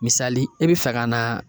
Misali e bi fɛ ka na